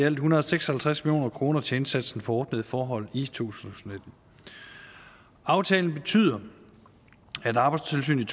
en hundrede og seks og halvtreds million kroner til indsatsen for ordnede forhold i i to tusind og nitten aftalen betyder at arbejdstilsynet